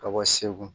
Ka bɔ segu